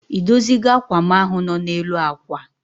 I dozi go ákwà m ahụ nọ n'elu akwa?